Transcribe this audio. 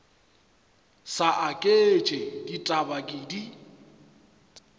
sa aketše ditaba ke di